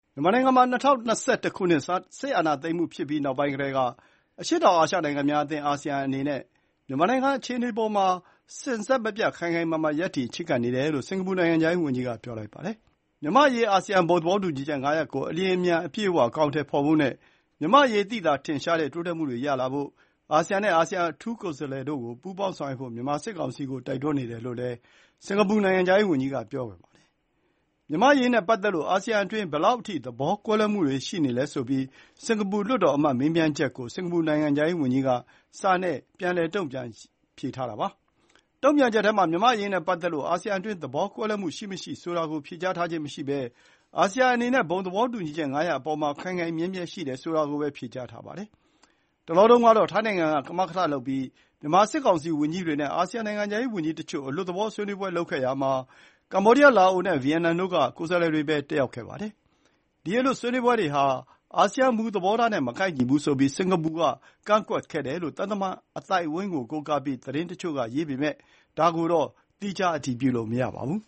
မြန်မာနိုင်ငံမှာ ၂၀၂၁ ခုနှစ် စစ်အာဏာသိမ်းမှုဖြစ်ပြီးနောက်ပိုင်းကတည်းက အရှေ့တောင်အာရှနိုင်ငံများအသင်း အာဆီယံအနေနဲ့ မြန်မာနိုင်ငံအခြေအနေအပေါ်မှာ စဉ်ဆက်မပြတ် ခိုင်ခိုင်မာမာ ရပ်တည်ချဉ်းကပ်နေတယ်လို့ စင်ကာပူနိုင်ငံခြားရေးဝန်ကြီးကပြောပါတယ်။ မြန်မာ့အရေး အာဆီယံ ဘုံသဘောတူညီချက် ၅ ရပ်ကို အလျှင်အမြန်နဲ့ အပြည့်အဝအကောင်အထည်ဖော်ဖို့နဲ့၊ မြန်မာ့အရေးသိသာထင်ရှားတဲ့တိုးတက်မှုတွေရလာဖို့ အာဆီယံနဲ့ အာဆီယံအထူးကိုယ်စားလှယ်တို့ကို ပူးပေါင်းဆောင်ရွက်ဖို့ မြန်မာစစ်ကောင်စီကိုတိုက်တွန်းနေတယ်လို့လည်း စင်ကာပူနိုင်ငံခြားရေးဝန်ကြီးက ပြောပါတယ်။ မြန်မာ့အရေးနဲ့ပတ်သက်လို့ အာဆီယံအတွင်း ဘယ်လောက်အထိ သဘောကွဲလွဲမှုတွေရှိနေလဲဆိုပြီး၊ စင်ကာပူလွှတ်တော်အမတ်မေးမြန်းချက်ကို စင်ကာပူနိုင်ငံခြားရေးဝန်ကြီးက စာနဲ့ပြန်တုန့်ပြန်ထားတာပါ။ တု့န်ပြန်ချက်ထဲမှာ မြန်မာ့အရေးနဲ့ပတ်သက်လို့ အာဆီယံအတွင်းသဘောကွဲလွဲမှုရှိမရှိဆိုတာကို ဖြေကြားထားခြင်းမရှိပဲ၊ အာဆီယံ အနေနဲ့ ဘုံသဘောတူညီချက် ၅ ရပ်အပေါ်မှာ ခိုင်ခိုင်မြဲမြဲရှိတယ်ဆိုတာကိုပဲ ဖြေကြားထားပါတယ်။ တလောတုန်းကတော့ ထိုင်းနိုင်ငံက ကမကထလုပ်ပြီး မြန်မာစစ်ကောင်စီဝန်ကြီးတွေနဲ့ အာဆီယံနိုင်ငံခြားရေးဝန်ကြီးတချို့ အလွတ်သဘောဆွေးနွေးပွဲလုပ်ခဲ့ရာမှာ၊ ကမ္ဘောဒီယား လာအိုနဲ့ ဗီယက်နိုင်ငံတို့က ကိုယ်စားလှယ်တွေပဲ တတ်ရောက်ပါတယ်။ ဒီ အလွတ်ဆွေးနွေးပွဲဟာ အာဆီယံမူသဘောထားနဲ့ မကိုက်ညီဘူးဆိုပြီး စင်ကာပူက ကန့်ကွက်ခဲ့တယ်လို့ သံတမန်အသိုင်းအဝိုင်းကိုးကားပြီး သတင်းတချို့ကရေးပေမယ့်၊ ဒါကိုတော့ သီခြားအတည်ပြုလို့မရသေးပါဘူး